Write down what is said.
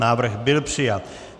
Návrh byl přijat.